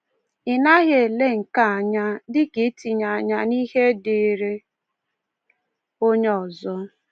Ị naghị ele nke a anya dị ka itinye anya n’ihe dịịrị onye ọzọ.